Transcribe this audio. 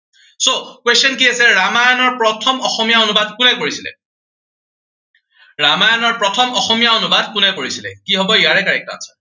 so question কি আছে, ৰামায়নৰ প্ৰথম অসমীয়া অনুবাদ কোনে কৰিছিলে? ৰামায়নৰ প্ৰথম অসমীয়া অনুবাদ কোনে কৰিছিলে? কি হব ইয়াৰে correct answer